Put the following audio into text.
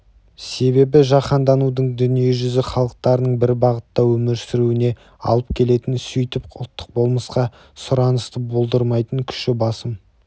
себебі жаһанданудың дүниежүзі халықтарының бір бағытта өмір сүруіне алып келетін сөйтіп ұлттық болмысқа сұранысты болдырмайтын күші басым